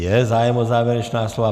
Je zájem o závěrečná slova.